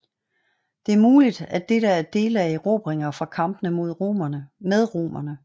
Det er muligt at dette er dele af erobringer fra kampene med romerne